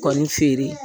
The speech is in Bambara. Kɔni feere